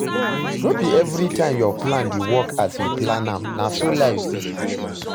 No be everytime your plan dey work as you plan am, na so life be